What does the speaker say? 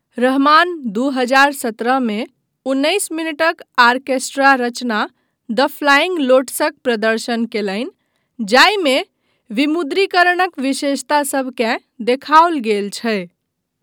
रहमान दू हजार सत्रह मे उन्नैस मिनटक आर्केस्ट्रा रचना द फ्लाइंग लोटसक प्रदर्शन कयलनि जाहिमे विमुद्रीकरणक विशेषता सभकेँ देखाओल गेल छै।